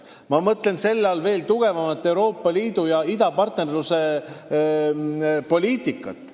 Ma mõtlen selle all veel tugevamat Euroopa Liidu idapartnerluse poliitikat.